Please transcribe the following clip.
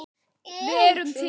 Við erum til!